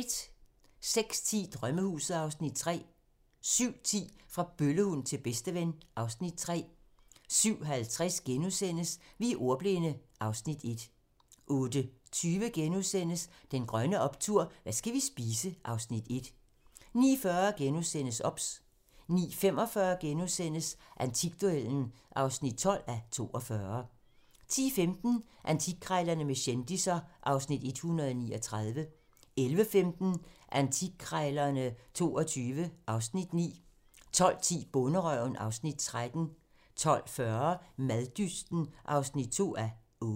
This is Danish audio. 06:10: Drømmehuset (Afs. 3) 07:10: Fra bøllehund til bedsteven (Afs. 3) 07:50: Vi er ordbildne (Afs. 1)* 08:20: Den grønne optur: Hvad skal vi spise? (Afs. 1)* 09:40: OBS * 09:45: Antikduellen (12:42)* 10:15: Antikkrejlerne med kendisser (Afs. 139) 11:15: Antikkrejlerne XXII (Afs. 9) 12:10: Bonderøven (Afs. 13) 12:40: Maddysten (2:8)